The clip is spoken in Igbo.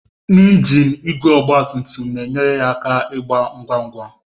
Ngiin igwe ọgba tum tum na-enyere ya aka ịga ngwa ngwa.